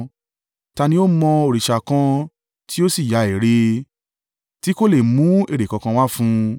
Ta ni ó mọ òrìṣà kan tí ó sì ya ère, tí kò lè mú èrè kankan wá fún un?